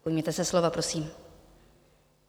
Ujměte se slova, prosím.